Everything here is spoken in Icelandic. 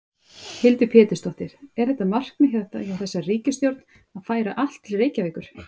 Hildur Pétursdóttir: Er þetta markmið hjá þessari ríkisstjórn að færa allt til Reykjavíkur?